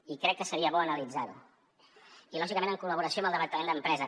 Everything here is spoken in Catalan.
i crec que seria bo analitzar ho i lògicament en col·laboració amb el departament d’empresa